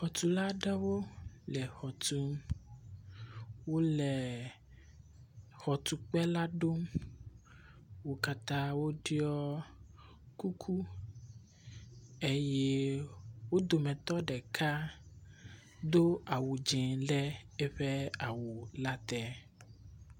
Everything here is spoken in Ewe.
Xɔtulawo aɖewo le exɔ tum, wole xɔtukpe la ɖom. Wo katã woɖɔ kuku eye wo dometɔ ɖeka do awu dze ɖe eƒe awu le te.